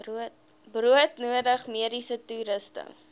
broodnodige mediese toerusting